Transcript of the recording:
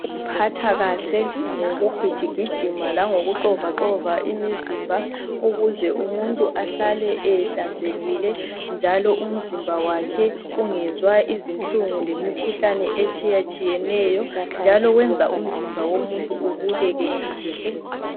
Ukuziphatha kahle ngokugijigijima langokuxovaxova imizimba ukuze umuntu ahlale ehlanzekile njalo umzimba wakhe ungezwa izinhlungu lemikhuhlane etshiyatshiyeneyo njalo kwenza umzimba womuntu ubukeke kahle.